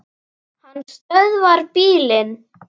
Hann stöðvar bílinn.